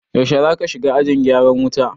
Yaushe zaka shiga ajin gyaran wuta?